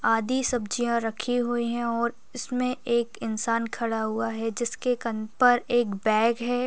आधी सब्जियां रखी हुई है और इसमें एक इंसान खड़ा हुआ है जिसके कंध पर एक बैग है।